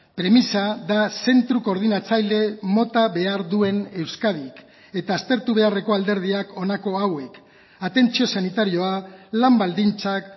premisa da zentro koordinatzaile mota behar duen euskadik eta aztertu beharreko alderdiak honako hauek atentzio sanitarioa lan baldintzak